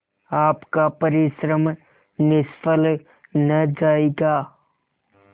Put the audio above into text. आपका परिश्रम निष्फल न जायगा